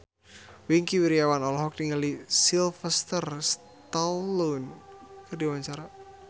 Wingky Wiryawan olohok ningali Sylvester Stallone keur diwawancara